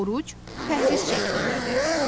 Oruc pəhriz şəklindədir.